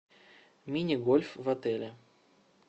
мини гольф в отеле